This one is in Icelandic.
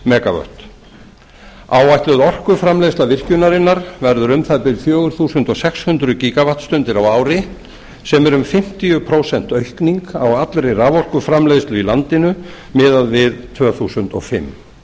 megavött áætluð orkuframleiðsla virkjunarinnar verður um það bil fjögur þúsund sex hundruð gígavattstundir á ári sem er um fimmtíu prósent aukning á allri raforkuframleiðslu í landinu miðað við árið tvö þúsund og fimm